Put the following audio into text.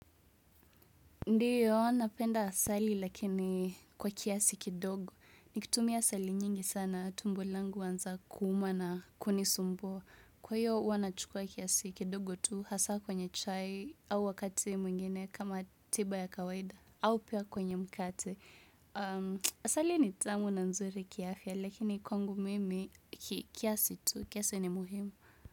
Ndiyo, napenda asali lakini kwa kiasi kidogo. Nikitumia asali nyingi sana, tumbo langu uanza kuuma na kunisumbua. Kwa hiyo, huwa nachukua kiasi kidogo tu hasa kwenye chai au wakati mwingine kama tiba ya kawaida au pia kwenye mkate. Asali ni tamu na nzuri kiafya lakini kwangu mimi kiasi tu, kiasi ni muhimu.